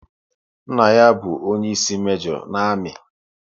Nna ya bụ onyeisi mejo na amị